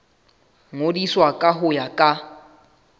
ngodiswa ka ho ya ka